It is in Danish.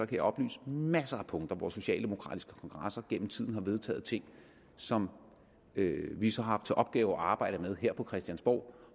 kan oplyse om masser af punkter hvor socialdemokratiske kongresser gennem tiden har vedtaget ting som vi så har haft til opgave at arbejde med her på christiansborg